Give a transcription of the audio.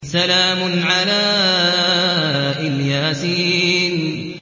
سَلَامٌ عَلَىٰ إِلْ يَاسِينَ